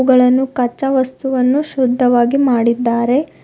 ಇವುಗಳನ್ನು ಕಚ್ಚಾ ವಸ್ತುವನ್ನು ಶುದ್ಧವಾಗಿ ಮಾಡಿದ್ದಾರೆ.